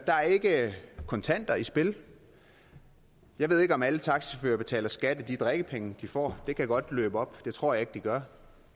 er ikke kontanter i spil jeg ved ikke om alle taxachauffører betaler skat af de drikkepenge de får og det kan godt løbe op det tror jeg ikke de gør